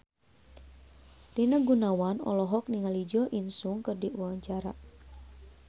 Rina Gunawan olohok ningali Jo In Sung keur diwawancara